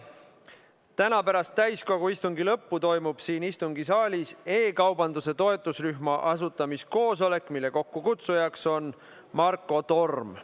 Täna pärast täiskogu istungi lõppu toimub siin istungisaalis e-kaubanduse toetusrühma asutamiskoosolek, mille kokkukutsuja on Marko Torm.